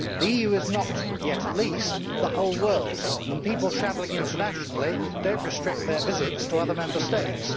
The EU is not not yet at least the whole world and people travelling internationally do not restrict their visits to other Member States.